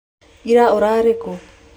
Ira ũrarĩ kũ?